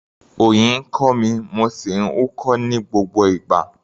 Òyì ń kọ́ mi, mo sì ń húkọ́ ní gbogbo ìgbà.